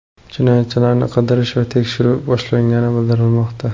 Jinoyatchilarni qidirish va tekshiruv boshlangani bildirilmoqda.